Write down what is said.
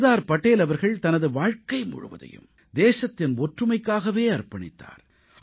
சர்தார் படேல் அவர்கள் தனது வாழ்க்கை முழுவதையும் தேசத்தின் ஒற்றுமைக்காகவே அர்ப்பணித்தார்